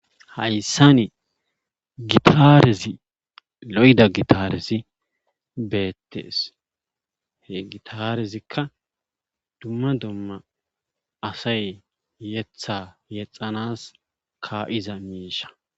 hayssani gitarezi lo'da gitaaresi beettees he gitarezikka dumma domma asay yetha yexanas ka'iza miisha